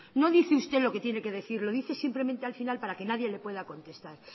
no dice usted lo que tiene que decir lo dice simplemente al final para que nadie le pueda contestar